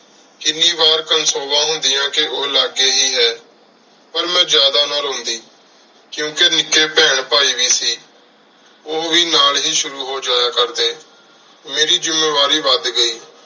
ਕੀਨੀ ਵਾਰ ਕੋਨ੍ਸੋਵਾਂ ਹੁੰਦਿਯਾਂ ਕ ਓਹ ਲਗੀ ਹੇ ਹੈ ਪਰ ਮੇਂ ਜਾਦਾ ਨਾ ਰੋਉਂਦੀ ਕ੍ਯੁਓੰ ਕ ਨਿੱਕੀ ਬੇਹਨ ਭਾਈ ਵੀ ਸੀ ਓਹ ਵੀ ਨਾਲ ਹੇ ਸ਼ੁਰੂ ਹੋ ਸ਼ੁਰੂ ਹੋ ਜਯਾ ਕਰਦੀ ਮੇਰੀ ਜ਼ਮਾ ਵਾਰੀ ਵਾਦ ਗਈ